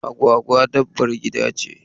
Agwagwa dabbar gida ce.